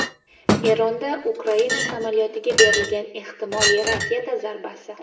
Eronda Ukraina samolyotiga berilgan ehtimoliy raketa zarbasi.